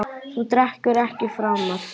Þú drekkur ekki framar.